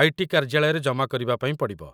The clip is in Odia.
ଆଇ.ଟି. କାର୍ଯ୍ୟାଳୟରେ ଜମା କରିବା ପାଇଁ ପଡ଼ିବ |